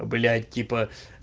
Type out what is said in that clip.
блять типа